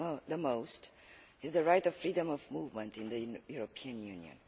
the most is the right of freedom of movement in the European Union.